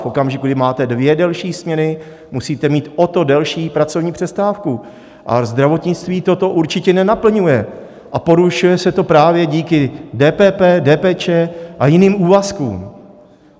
V okamžiku, kdy máte dvě delší směny, musíte mít o to delší pracovní přestávku a zdravotnictví toto určitě nenaplňuje a porušuje se to právě díky DPP, DPČ a jiným úvazkům.